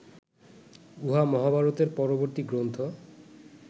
উহা মহাভারতের পরবর্তী গ্রন্থ